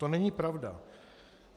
To není pravda.